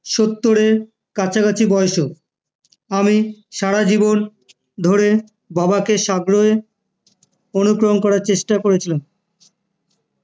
সত্তরের কাছাকাছি বয়সেও